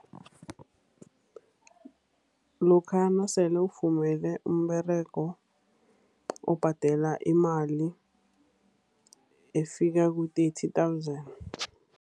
Lokha nasele ufumene umberego, ubhadela imali efikela ku-thirty thousand.